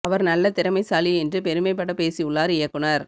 அவர் நல்ல திறமைசாலி என்று பெருமை பட பேசி உள்ளார் இயக்குனர்